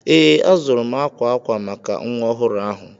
Ee, azụrụ m akwa akwa maka nwa ọhụrụ ahụ.